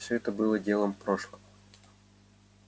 все это было делом прошлого